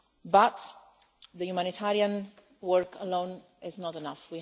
But the humanitarian work alone is not enough.